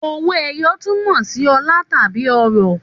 Òwó ẹyọ tún mọ si ọlà tàbí ọrọ